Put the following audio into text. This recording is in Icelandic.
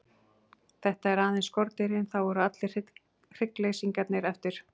Þetta eru aðeins skordýrin, þá eru allir hinir hryggleysingjarnir eftir.